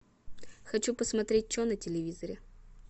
хочу посмотреть че на телевизоре